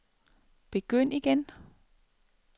begynd igen